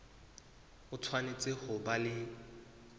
o tshwanetse ho ba le